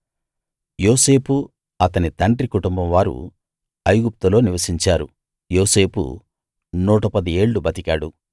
యోసేపు అతని తండ్రి కుటుంబం వారూ ఐగుప్తులో నివసించారు యోసేపు 110 ఏళ్ళు బతికాడు